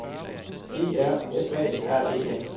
E R F A R E N